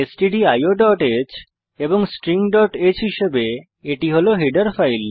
stdioহ্ এবং stringহ্ হিসেবে এটি হল হেডার ফাইল